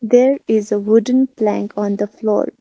there is a wooden plank on the floor.